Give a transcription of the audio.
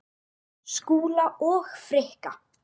Skúla og Frikka?